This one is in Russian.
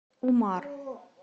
умар